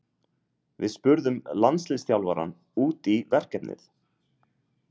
Við spurðum landsliðsþjálfarann út í verkefnið.